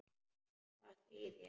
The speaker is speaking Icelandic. Hvað segið þér?